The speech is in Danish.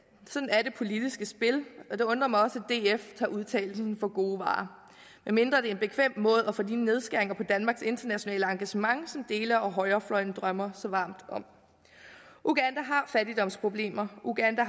sådan er det politiske spil og det undrer mig også at df tager udtalelsen for gode varer medmindre det er en bekvem måde at få de nedskæringer på danmarks internationale engagement som dele af højrefløjen drømmer så varmt om uganda har fattigdomsproblemer uganda